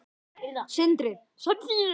Sindri: Sem þýðir?